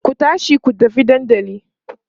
ku tashi ku tafi dandali!